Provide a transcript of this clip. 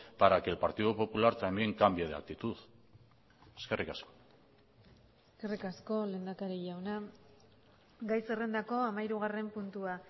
para que el partido popular también cambie de actitud eskerrik asko eskerrik asko lehendakari jauna gai zerrendako hamahirugarren puntua